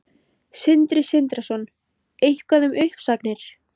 Sindri Sindrason: Eitthvað um uppsagnir?